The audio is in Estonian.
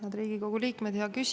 Head Riigikogu liikmed!